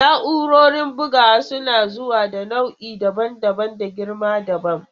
Na'urorin bugawa suna zuwa da nau'i daban-daban da girma dabam.